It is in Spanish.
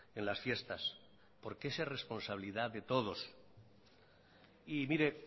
en las fiestas porque esa es responsabilidad de todos y mire